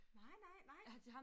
Nej nej nej